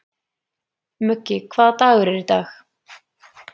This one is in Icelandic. Muggi, hvaða dagur er í dag?